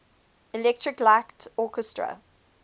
electric light orchestra